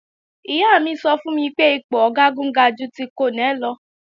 Ìyá mi sọ fún mi pé ipò Ọ̀gágun ga ju ti Kọ́nẹ̀ lọ